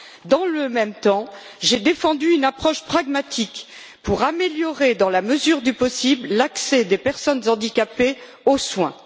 Dans le même temps, j'ai défendu une approche pragmatique pour améliorer, dans la mesure du possible, l'accès des personnes handicapées aux soins.